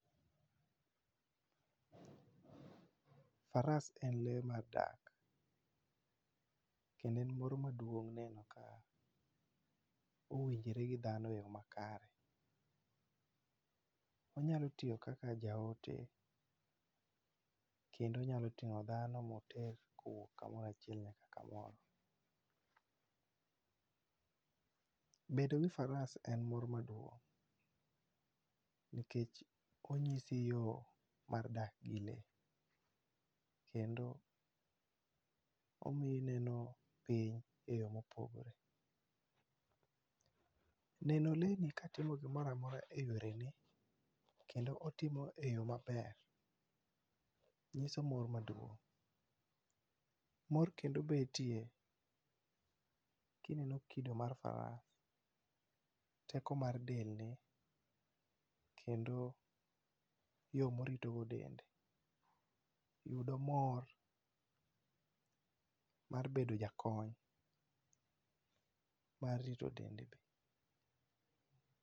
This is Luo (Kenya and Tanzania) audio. Faras en lee mar dak kendo en moro maduong' neno ka owinjore gi dhano eyo makare. Onyalo tiyo kaka jaote kendo onyalo ting'o dhano moter kamoro achiel nyaka kamoro. Bedo gi faras en mor maduong' nikech onyisi yoo mar dak gi lee kendo omiyi ineno piny eyo mopogore. Neno lee ni katimo gimoro amora eyorene kendo otimo eyo maber nyiso mor maduong'. Mor kendo betie kineno kido mar faras teko mar dende, kendo yo morito go dende yudo mor mar bedo jakony mar rito dende.